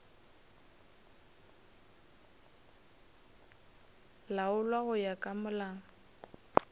laolwa go ya ka molao